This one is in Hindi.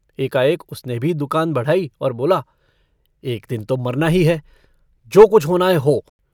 एकाएक उसने भी दुकान बढ़ाई और बोला - एक दिन तो मरना ही है, जो कुछ होना है हो।